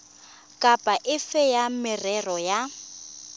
kapa efe ya merero ya